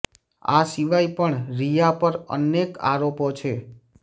આ સિવાય પણ રિયા પર એનેક આરોપો છે